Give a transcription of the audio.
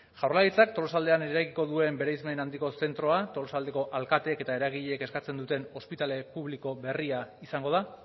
jaurlaritzak tolosaldean eraikiko duen bereizmen handiko zentroa tolosaldeko alkatek eta eragileek eskatzen duten ospitale publiko berria izango da